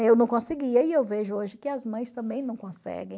Eu não conseguia e eu vejo hoje que as mães também não conseguem.